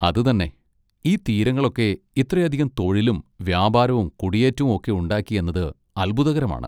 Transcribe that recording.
അത് തന്നെ! ഈ തീരങ്ങളൊക്കെ ഇത്രയധികം തൊഴിലും വ്യാപാരവും കുടിയേറ്റവും ഒക്കെ ഉണ്ടാക്കി എന്നത് അത്ഭുതകരമാണ്.